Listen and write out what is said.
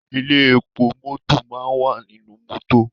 Ilé epo mọ́tọ̀ máa wà nínú mọ́tọ̀.